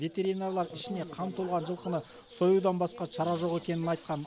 ветеринарлар ішіне қан толған жылқыны союдан басқа шара жоқ екенін айтқан